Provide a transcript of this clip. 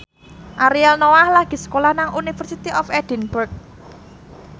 Ariel Noah lagi sekolah nang University of Edinburgh